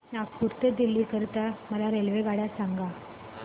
नागपुर ते दिल्ली करीता मला रेल्वेगाड्या सांगा